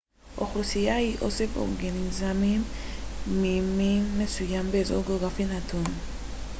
אוכלוסייה היא אוסף אורגניזמים ממין מסוים באזור גאוגרפי נתון